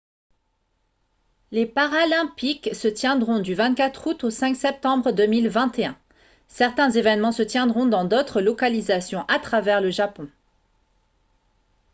les paralympiques se tiendront du 24 août au 5 septembre 2021 certains événements se tiendront dans d'autres localisations à travers le japon